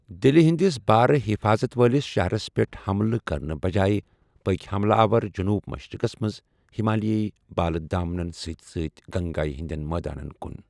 دلہٕ ہٕنٛدس بھارٕ حفاظت وٲلِس شہرس پیٹھ حملہٕ كرنہٕ بجایہ پكۍ حملہٕ آور جنوب مشرِقس منز ہِمالیٲیی بالہٕ دامنن سۭتۍ سۭتۍ گنگایہ ہندین مٲدانن كُن ۔